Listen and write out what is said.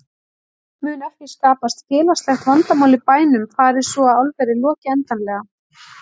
Mun ekki skapast félagslegt vandamál í bænum fari svo að álverið loki endanlega?